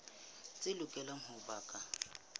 tse lokelang ho ba ka